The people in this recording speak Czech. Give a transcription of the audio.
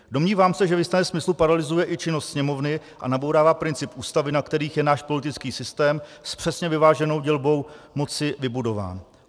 Domnívám se, že v jistém smyslu paralyzuje i činnost Sněmovny a nabourává principy Ústavy, na kterých je náš politický systém s přesně vyváženou dělbou moci vybudován.